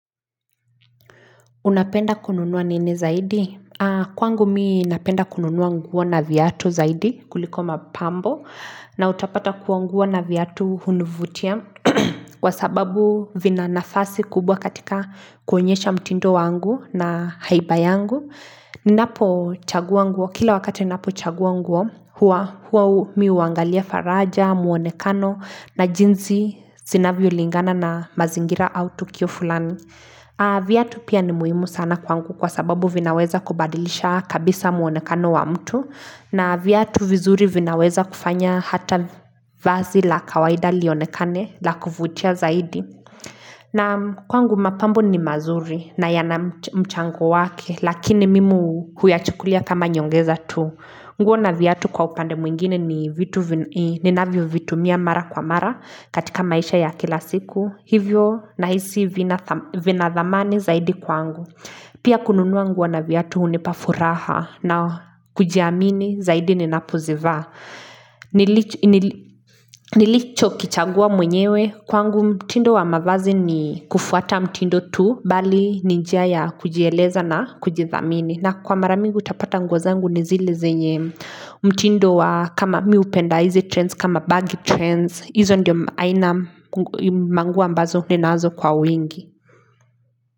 Unapenda kununua nini zaidi? Kwangu mimi napenda kununua nguo na viatu zaidi kuliko mapambo na utapata kuwa nguo na viatu hunivutia kwa sababu vina nafasi kubwa katika kuonyesha mtindo wangu na haiba yangu. Ninapochagua nguo, kila wakati ninapochagua nguo, huwa mimi huangalia faraja, muonekano na jinsi zinavyolingana na mazingira au tukio fulani. Viatu pia ni muhimu sana kwangu kwa sababu vinaweza kubadilisha kabisa muonekano wa mtu na viatu vizuri vinaweza kufanya hata vazi la kawaida lionekane la kufutia zaidi Naam kwangu mapambo ni mazuri na yana mchango wake lakini mimi huyachukulia kama nyongeza tu nguo na viatu kwa upande mwingine ni vitu ninavyo vitumia mara kwa mara katika maisha ya kila siku Hivyo nahisi vinathamani zaidi kwangu Pia kununua nguo na viatu hunipafuraha na kujiamini zaidi ninapozivaa Nilichokichagua mwenyewe Kwangu mtindo wa mavazi ni kufuata mtindo tu Bali ni njia ya kujieleza na kujithamini na kwa mara mingi utapata nguo zangu ni zile zenye mtindo wa kama mimi hupenda hizi trends kama baggy trends Izo ndio aina manguo ambazo ninazo kwa wingi.